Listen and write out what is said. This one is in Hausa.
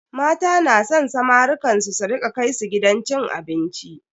Mata na san samarukan su su rika kai su gidan cin abinci.